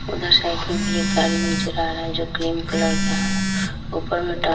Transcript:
उधर साइड में भी एक गाड़ी नीचे चला रहा है जो क्रीम कलर का है ऊपर में --